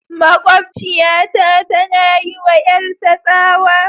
Makwabciyata tana yi wa 'yarta tsawa.